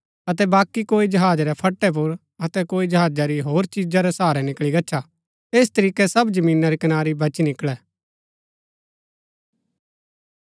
अतै बाकी कोई जहाजा रै फट्टै पुर अतै कोई जहाजा री होर चिजा रै सहारै निकळी गच्छा ऐस तरीकै सब जमीना री कनारी बची निकळै